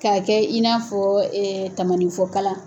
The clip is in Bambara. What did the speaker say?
K'a kɛ i n'a fɔɔ tamaninfɔ kala